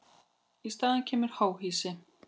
Í staðinn kemur háhýsi.